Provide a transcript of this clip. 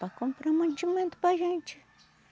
Para comprar mantimento para a gente.